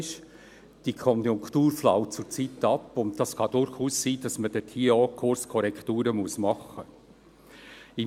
Die Konjunktur flaut zurzeit ab und es kann durchaus sein, dass man dort auch Kurskorrekturen machen muss.